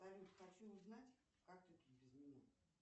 салют хочу узнать как ты тут без меня